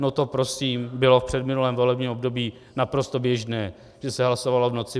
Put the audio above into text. No to prosím bylo v předminulém volebním období naprosto běžné, že se hlasovalo v noci.